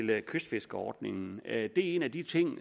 der kystfiskerordningen det er en af de ting